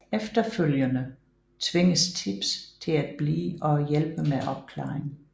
Efterfølgende tvinges Tibbs til at blive og hjælpe med opklaringen